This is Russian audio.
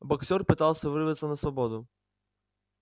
боксёр пытался вырваться на свободу